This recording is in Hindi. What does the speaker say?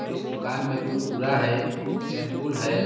और इस दुकान में कुरकुरा है शैंपूल है.